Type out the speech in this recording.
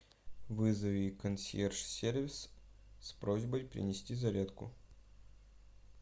вызови консьерж сервис с просьбой принести зарядку